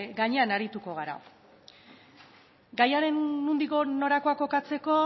gainean arituko gara gaiaren nondik norakoak kokatzeko